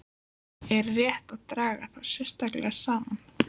Er rétt að draga þá sérstaklega saman.